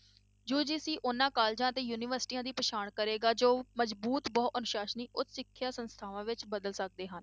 UGC ਉਹਨਾਂ colleges ਅਤੇ ਯੂਨੀਵਰਸਟੀਆਂ ਦੀ ਪਛਾਣ ਕਰੇਗਾ, ਜੋ ਮਜ਼ਬੂਤ ਬਹੁ ਅਨੁਸਾਸਨੀ ਉੱਚ ਸਿੱਖਿਆ ਸੰਸਥਾਵਾਂ ਵਿੱਚ ਬਦਲ ਸਕਦੇ ਹਨ।